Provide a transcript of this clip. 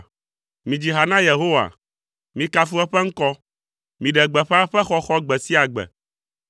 Midzi ha na Yehowa, mikafu eƒe ŋkɔ; miɖe gbeƒã eƒe xɔxɔ gbe sia gbe.